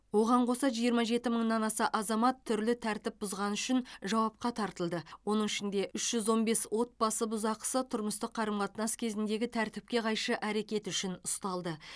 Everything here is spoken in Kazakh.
оған қоса жиырма жеті мыңнан аса азамат түрлі тәртіп бұзғаны үшін жауапқа тартылды оның ішінде үш жүз он бес отбасы бұзақысы тұрмыстық қарым қатынас кезіндегі тәртіпке қайшы әрекеті үшін ұсталды